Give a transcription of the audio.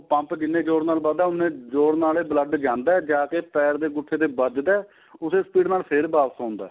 pump ਜਿੰਨੇ ਜ਼ੋਰ ਨਾਲ ਵੱਜਦਾ ਉੰਨੇ ਜ਼ੋਰ ਏ blood ਜਾਂਦਾ ਜਾਕੇ ਪੈਰ ਦੇ ਅੰਗੁੱਠੇ ਵਿੱਚ ਵੱਜਦਾ ਏ ਉਸੀਂ speed ਨਾਲ ਫ਼ੇਰ ਵਾਪਿਸ ਆਉਦਾ ਏ